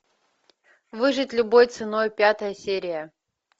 выжить любой ценой пятая серия